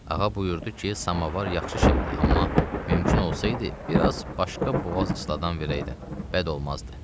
Ağa buyurdu ki, samavar yaxşı şeydir, amma mümkün olsaydı, bir az başqa boğaz ısladan verəydin, bəd olmazdı.